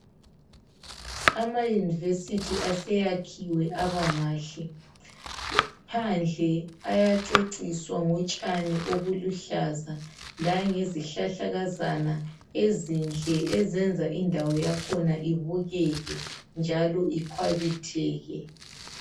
Ama University aseyakhiwe abamahle. Phandle ayaceciswa ngotshani obuluhlaza langezihlahlakazana ezinhle eziyenza indawo yakhona ibukeke njalo ikhwabitheke.